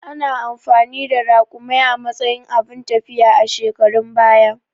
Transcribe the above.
Ana amfani da Raƙumai a matsayin abun tafiya a shekarun baya